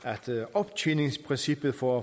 optjeningsprincippet for